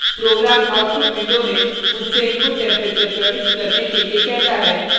program output window में मुझसे input temperature प्रविष्ट करने के लिए कहता है